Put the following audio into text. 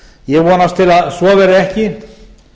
ég vonast til að svo verði ekki